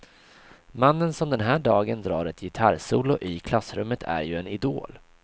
Mannen som den här dagen drar ett gitarrsolo i klassrummet är ju en idol.